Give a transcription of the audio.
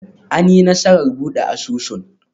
An yi nasarar buɗe asusun?